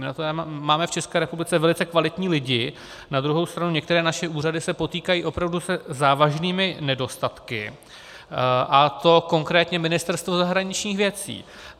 My na to máme v České republice velice kvalitní lidi, na druhou stranu některé naše úřady se potýkají opravdu se závažnými nedostatky, a to konkrétně Ministerstvo zahraničních věcí.